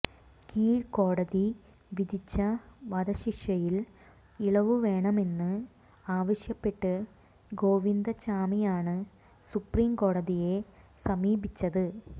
കീഴ്കോടതി വിധിച്ച വധശിക്ഷയിൽ ഇളവ് വേണമെന്ന് ആവശ്യപ്പെട്ട് ഗോവിന്ദച്ചാമിയാണ് സുപ്രീംകോടതിയെ സമീപിച്ചത്